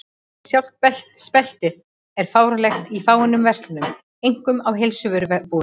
Sjálft speltið er fáanlegt í fáeinum verslunum, einkum í heilsuvörubúðum.